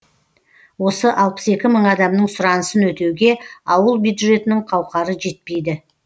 осы алпыс екі мың адамның сұранысын өтеуге ауыл бюджетінің қауқары жетпейді